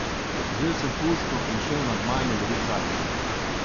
Vzel sem puško in šel na gmajno lovit zajce.